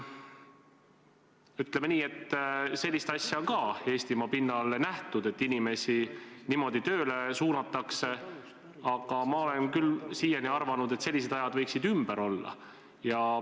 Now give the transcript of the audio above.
Ütleme nii, et sellist asja on ka Eestimaa pinnal nähtud, et inimesi niimoodi tööle suunatakse, aga ma olen küll siiani arvanud, et sellised ajad võiksid ümber olla.